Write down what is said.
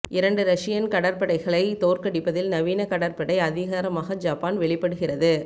இரண்டு ரஷியன் கடற்படைகளை தோற்கடிப்பதில் நவீன கடற்படை அதிகாரமாக ஜப்பான் வெளிப்படுகிறது